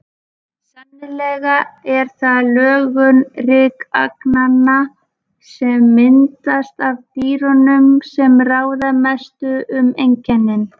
Sennilega er það lögun rykagnanna, sem myndast af dýrunum, sem ráða mestu um einkennin.